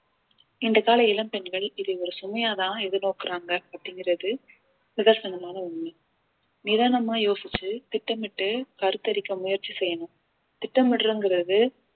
இந்த கால இளம் பெண்கள் இதை ஒரு சுமையாதான் எதிர் நோக்குறாங்க அப்படிங்கிறது நிதர்சனமான உண்மை நிதானமா யோசிச்சு திட்டமிட்டு கருத்தரிக்க முயற்சி செய்யணும் திட்டமிடுறதுங்கிறது